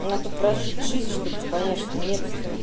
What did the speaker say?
надо прожить жизнь чтобы понять что нет